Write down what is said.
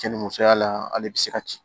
Cɛ ni musoya la ale bɛ se ka ci